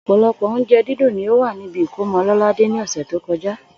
Ò̩pò̩lo̩pò̩ oúnje̩ dídùn ni ó wà níbi ìkómo̩ Lò̩ládé ní ò̩sè̩ tó ko̩já